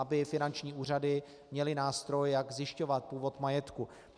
Aby finanční úřady měly nástroj, jak zjišťovat původ majetku.